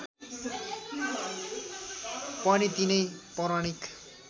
पनि तिनै पौराणिक